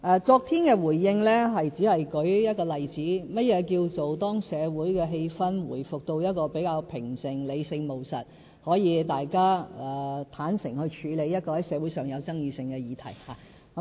昨天的回應，我只是舉一個例子，說明何謂"當社會氣氛回復到相對平靜、理性務實時，大家可以坦誠地處理社會上具爭議性的議題"。